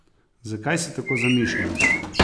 Zakaj si tako zamišljen?